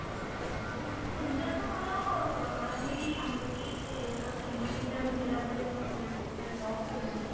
sensor ଟା ମୋର ରହିଛି ଆଙ୍ଗୁଠି ର finger print ଟା ଆମେ ଦେଲା ପରେ ଆମର ଖୋଲୁଚି ସେଟା lock ଖୋଲୁଛି